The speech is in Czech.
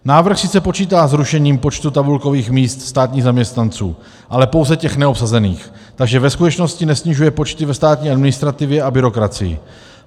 Návrh sice počítá s rušením počtu tabulkových míst státních zaměstnanců, ale pouze těch neobsazených, takže ve skutečnosti nesnižuje počty ve státní administrativě a byrokracii.